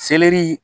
Selɛri